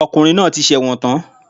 Ọkùnrin náà ti sẹ̀wọ̀n tán